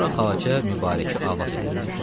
Sonra Xacə Mübarəki avaz elədi.